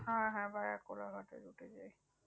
হ্যাঁ হ্যাঁ ভায়া কোলাঘাটে route এ যান কি